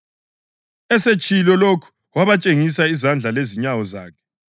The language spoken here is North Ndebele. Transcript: Esetshilo lokhu wabatshengisa izandla lezinyawo zakhe.